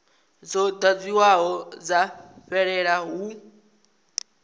dzo ḓadziwaho dza fhelela hu